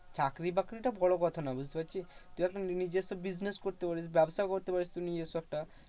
চাকরি বাকরি টা বড় কথা না বুঝতে পারছিস? তুই এখন নিজস্য business করতে পারিস, ব্যাবসাও করতে পারিস তুই নিজস্য একটা।